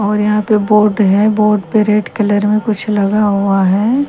और यहां पे बोर्ड है बोर्ड पे रेड कलर में कुछ लिखा हुआ है।